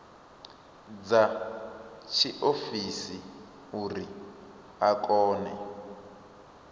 dza tshiofisi uri a kone